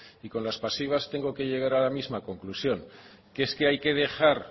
y con las pasivas tengo que llegar a la misma conclusión que es que hay que dejar